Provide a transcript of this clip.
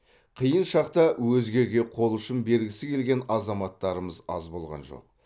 қиын шақта өзгеге қол ұшын бергісі келген азаматтарымыз аз болған жоқ